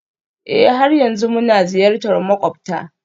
Ee, har yanzu muna ziyartar makwabta